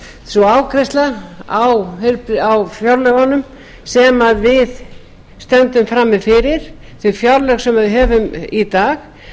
ég tel að sú afgreiðsla á fjárlögunum sem við stöndum frammi fyrir þau fjárlög sem við höfum í dag